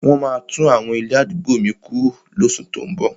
Wọ́n maá tún àwọn ilé àdúgbò mi kuro lóṣù tó ún bọ̀.